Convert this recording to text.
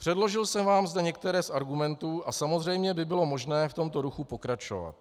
Předložil jsem vám zde některé z argumentů a samozřejmě by bylo možné v tomto duchu pokračovat.